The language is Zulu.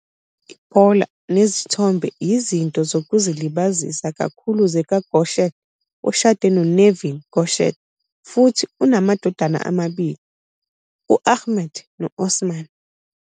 Ibhola nezithombe yizinto zokuzilibazisa kakhulu zikaGökçek, oshade noNevin Gökçek, futhi unamadodana amabili, u-Ahmet no-Osman.